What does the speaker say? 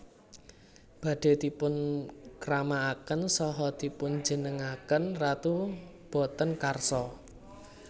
Badhé dipunkramakaken saha dipunjumenengaken ratu boten karsa